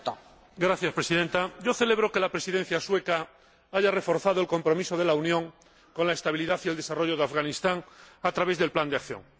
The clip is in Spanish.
Señora Presidenta, celebro que la Presidencia sueca haya reforzado el compromiso de la Unión con la estabilidad y el desarrollo de Afganistán a través del plan de acción.